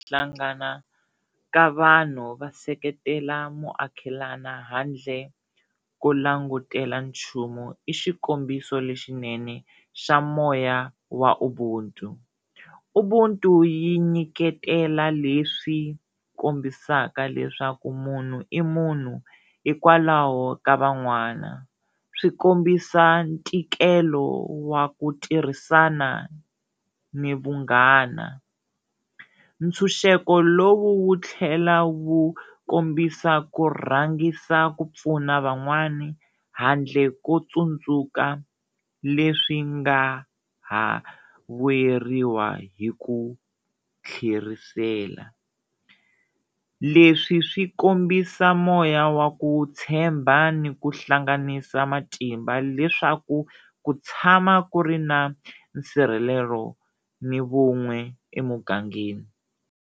Hlangana ka vanhu va seketela muakelana handle ko langutela nchumu i xikombiso lexinene xa moya wa Ubuntu. Ubuntu yi nyiketela leswi kombisaka leswaku munhu i munhu hikwalaho ka van'wana, swi kombisa ntikelo wa ku tirhisana ni vunghana, ntshunxeko lowu wu tlhela wu kombisa ku rhangisa ku pfuna van'wana handle ko tsundzuka leswi nga ha vuyeriwa hi ku tlherisela, leswi swi kombisa moya wa ku tshemba ni ku hlanganisa matimba leswaku ku tshama ku ri na nsirhelelo ni vun'we emugangeni.